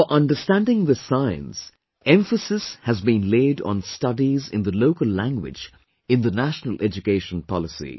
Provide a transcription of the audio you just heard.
For understanding this science, emphasis has been laid on studies in the local language in the National Education Policy